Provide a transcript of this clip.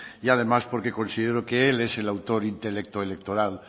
y además porque considero que él es el autor intelecto electoral